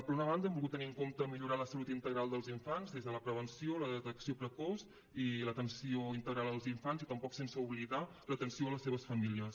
per una banda hem volgut tenir en compte millorar la salut integral dels infants des de la prevenció la detecció precoç i l’atenció integral als infants i tampoc sense oblidar l’atenció a les seves famílies